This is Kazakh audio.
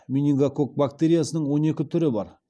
менингококк бактериясының он екі түрі бар